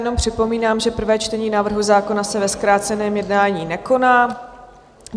Jenom připomínám, že prvé čtení návrhu zákona se ve zkráceném jednání nekoná.